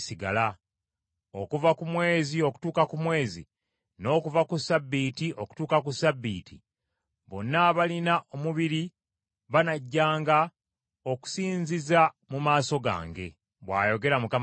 Okuva ku mwezi okutuuka ku mwezi, n’okuva ku ssabbiiti okutuuka ku ssabbiiti, bonna abalina omubiri banajjanga okusinziza mu maaso gange,” bw’ayogera Mukama Katonda.